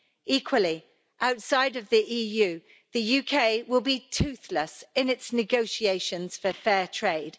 Equally, outside of the EU, the UK will be toothless in its negotiations for fair trade.